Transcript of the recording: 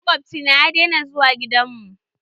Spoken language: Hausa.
Makwabci na ya daina zuwa gidan mu.